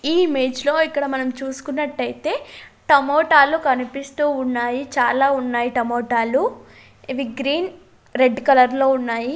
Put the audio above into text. ఈ ఇమేజ్ లో ఇక్కడ మనం చూసుకున్నట్లయితే టమోటాలు కనిపిస్తూ ఉన్నాయి చాలా ఉన్నాయి టమోటాలు ఇవి గ్రీన్ రెడ్ కలర్ లో ఉన్నాయి.